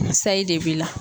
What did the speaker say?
Sayi de b'i la.